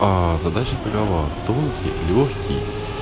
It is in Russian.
аа задача такова тонкий лёгкий